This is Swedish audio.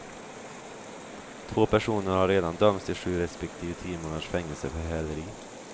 Två personer har redan dömts till sju respektive tio månaders fängelse för häleri.